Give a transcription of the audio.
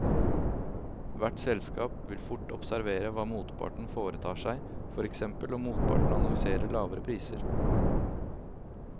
Hvert selskap vil fort observere hva motparten foretar seg, for eksempel om motparten annonserer lavere priser.